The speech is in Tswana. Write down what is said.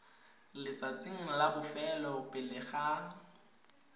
letsatsing la bofelo pele ga